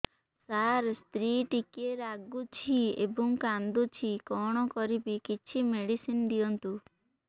ସାର ସ୍ତ୍ରୀ ଟିକେ ରାଗୁଛି ଏବଂ କାନ୍ଦୁଛି କଣ କରିବି କିଛି ମେଡିସିନ ଦିଅନ୍ତୁ